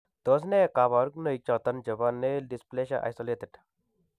Tos nee kabarunaik choton chebo Nail dysplasia , isolated ?